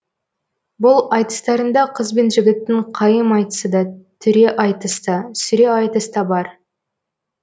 бұл айтыстарында қыз бен жігіттің қайым айтысы да түре айтыс та сүре айтыс та бар